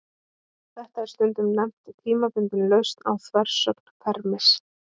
Þetta er stundum nefnt tímabundin lausn á þversögn Fermis.